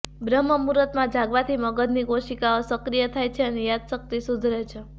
બ્રહ્મ મુહૂર્તમાં જાગવાથી મગજની કોશિકાઓ સક્રિય થાય છે અને યાદશક્તિ સુધરે છે